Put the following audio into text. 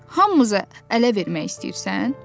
Hamımızı ələ vermək istəyirsən?